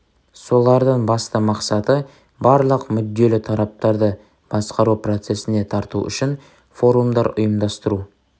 солардың басты мақсаты барлық мүдделі тараптарды басқару процесіне тарту үшін форумдар ұйымдастыру